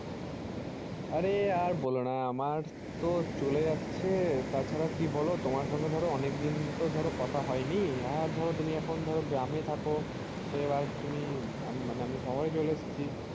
আরে আর বলোনা আমার তো চলে যাচ্ছে তাছাড়া কি বলো তোমার সঙ্গে ধরো অনেকদিন তো ধরো কথা হয়নি আর ধরো তুমি এখন ধরো গ্রামে থাকো তো এবার তুমি আঃ মানে আমি শহরে চলে এসছি